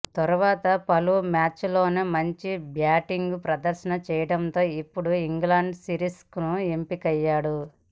తర్వాత పలు మ్యాచ్ల్లోనూ మంచి బ్యాటింగ్ ప్రదర్శన చేయడంతో ఇప్పుడు ఇంగ్లాండ్ సిరీస్కు ఎంపికయ్యాడు